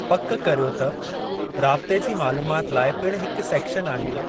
पकि करियो त राबते जी मालूमात लाइ पिणु हिकु सेक्शन आहे।